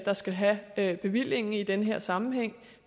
der skal have have bevillingen i den her sammenhæng